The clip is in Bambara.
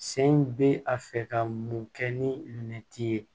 Sen bɛ a fɛ ka mun kɛ ni minɛti ye